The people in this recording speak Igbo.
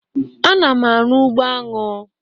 Ana m arụ ụgbọ aṅụ